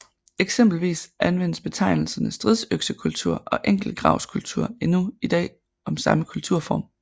Eksempelvis anvendes betegnelserne stridsøksekultur og enkeltgravskultur endnu i dag om samme kulturform